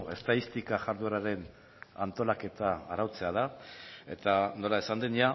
estatistika jardueraren antolaketa arautzea da eta nola esan den